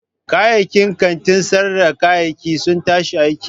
Kayayyakin kantin sayar da kayayyaki sun tashi aiki.